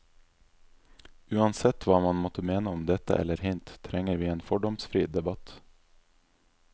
Uansett hva man måtte mene om dette eller hint, trenger vi en fordomsfri debatt.